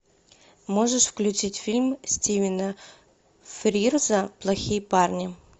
можешь включить фильм стивена фрирза плохие парни